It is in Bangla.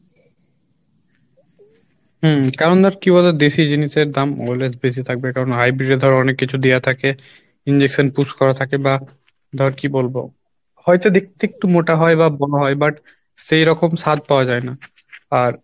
হম কারণ কী বলতো দেশী জিনিসের দাম always বেশি থাকবে কারণ hybrid এ ধর অনেক কিছু দেওয়া থাকে injection push করা থাকে বা ধর কী বলবো হয়তো দেখতে একটু মোটা হয় বা but সেইরকম স্বাদ পাওয়া যাই না আর